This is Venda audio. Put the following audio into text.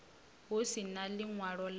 hu si na ḽiṅwalo ḽa